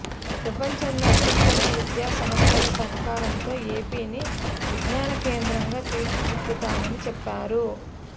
ప్రపంచంలో అత్యుత్తమ విద్యా సంస్థల సహకారంతో ఏపీని విజ్ఞాన కేంద్రంగా తీర్చిదిద్దుతామని చెప్పారు